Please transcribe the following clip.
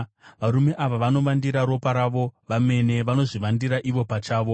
Varume ava vanovandira ropa ravo vomene; vanozvivandira ivo pachavo!